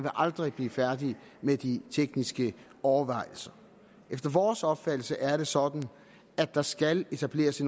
aldrig blive færdig med de tekniske overvejelser efter vores opfattelse er det sådan at der skal etableres